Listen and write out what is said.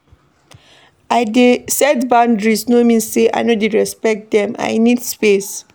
I dey set boundaries no mean sey I no dey respect dem, I need space.